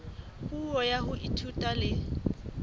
puo ya ho ithuta le